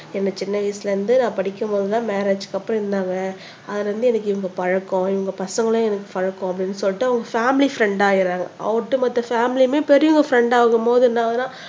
என்ன சின்ன வயசுல இருந்து படிக்கும்போது தான் மேரேஜ்க்கு அப்புறோம் இருந்தாங்க அதுல இருந்து எனக்கு இவங்க பழக்கம் உங்க பசங்களும் எனக்கு பழக்கம் அப்படின்னு சொல்லிட்டு அவங்க பேமிலி ஃப்ரெண்ட் ஆயிடராங்க ஒட்டுமொத்த ஃபேமிலியுமே பெரியவங்க ஃப்ரெண்ட் ஆகும் போது என்ன ஆகுதுன்னா